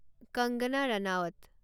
Kangana Ranaut